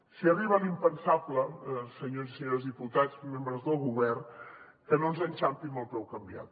si arriba l’impensable senyores i senyors diputats membres del govern que no ens enxampi amb el peu canviat